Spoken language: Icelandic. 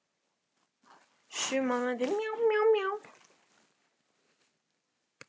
Sunna Sæmundsdóttir: Þannig að lánin gætu verið ólögleg?